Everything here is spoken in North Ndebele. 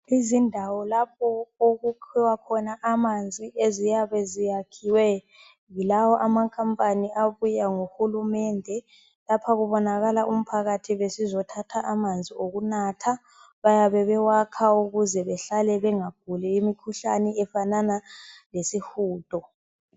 Izindawo lapho okukhiwa khona amanzi eziyeba ziyakhiwe yilawo amakhambani abuya lohurumende. Lapha kubonakala umphakhathi besizo thatha amanzi okhunatha, bayabe bewakha ukuze bengaguli imikhuhlane efanana lesihundo.